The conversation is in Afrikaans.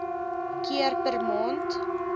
keer per maand